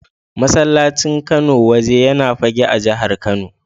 Masallacin Kano Waje yana Fagge a jihar Kano.